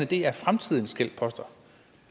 det er fremtidens gældsposter